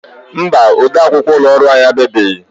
Mba, ode akwukwọ ụlọ ọrụ anyị abịabeghị.